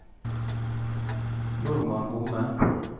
Normann Homme